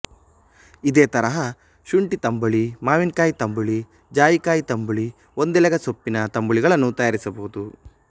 ಇದೆ ತರಹ ಶುಂಠಿ ತಂಬುಳಿ ಮಾವಿನಕಾಯಿ ತಂಬುಳಿ ಜಾಯಿಕಾಯಿ ತಂಬುಳಿ ಒಂದೆಲೆಗ ಸೊಪ್ಪಿನ ತಂಬುಳಿಗಳನ್ನು ತಯಾರಿಸಬಹುದು